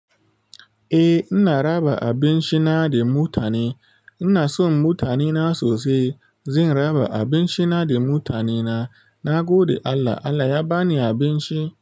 Eh ina raba abinci na da mutane, ina son mutane na sosai. Zan raba abinci na da mutane na. Na gode Allah, Allah ya ba ni abinci.